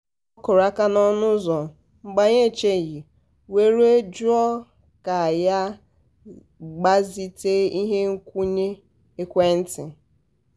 ọ kụrụ aka n’ọnụ ụzọ mgbe anyị n'echeghị were jụọ ka ya gbazite ihe nkwunye ekwentị.